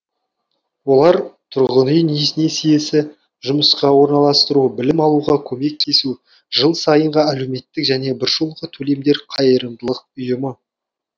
олар тұрғын үй несиесі жұмысқа орналастыру білім алуға көмектесу жыл сайынғы әлеуметтік және біржолғы төлемдер қайырымдылық ұйымы